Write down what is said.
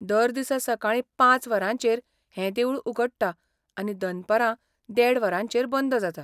दर दिसा सकाळीं पांच वरांचेर हें देवूळ उगडटा आनी दनपारां देड वरांचेर बंद जाता.